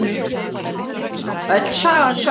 Öll sagan sögð